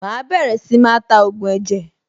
Màá bẹ̀rẹ̀ sí máa ta ògùn ẹ̀jẹ̀.